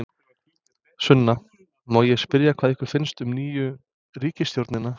Sunna: Má ég spyrja hvað ykkur finnst um nýju ríkisstjórnina?